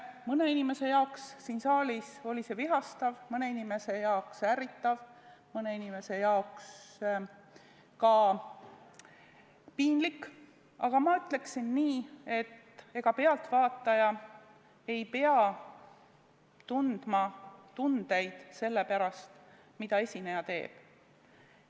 Mõne inimese jaoks siin saalis oli see vihastav, mõne inimese jaoks ärritav, mõne inimese jaoks ka piinlik, aga ma ütleksin nii, et ega pealtvaataja ei pea tundma tundeid sellepärast, mida esineja teeb.